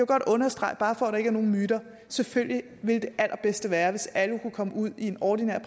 godt understrege bare for at der ikke er nogen myter at selvfølgelig ville det allerbedste være hvis alle kunne komme ud i en ordinær